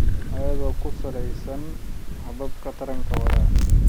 Iyada oo ku saleysan hababka taranka waara.